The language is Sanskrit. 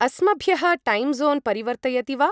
अस्मभ्यः टैं ज़ोन् परिवर्तयति वा ?